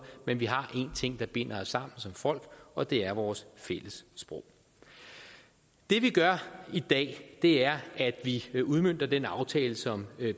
men vi har én ting der binder os sammen som folk og det er vores fælles sprog det vi gør i dag er at vi udmønter den aftale som